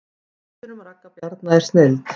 Myndin um Ragga Bjarna er snilld